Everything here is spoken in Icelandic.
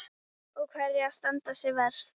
Og hverjar standa sig verst?